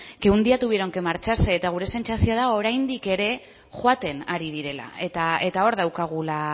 que un día tuvieron que marcharse eta gure sentsazioa da oraindik ere joaten ari direla eta hor daukagula